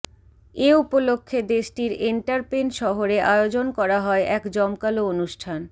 এ উপলক্ষে দেশটির এন্টারপেন শহরে আয়োজন করা হয় এক জমকালো অনুষ্ঠান